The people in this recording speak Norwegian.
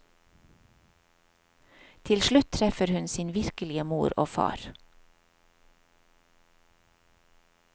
Til slutt treffer hun sin virkelige mor og far.